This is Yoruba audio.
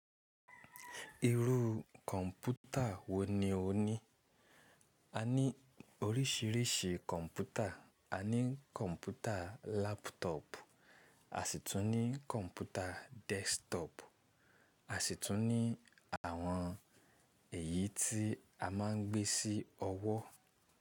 Irú kọ̀ǹpútà wọ́ ni o ní? A ní oríṣiríṣi kọ̀ǹpútà, a ní kọ̀ǹpútà láptọ̀pu, a sì tún ní kọ̀ǹpútà dẹ́sktọ́pù, a sì tún ní àwọn èyí tí a máa ń gbé sí ọwọ́.